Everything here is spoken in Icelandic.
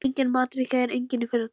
Enginn matur í gær, enginn í fyrradag.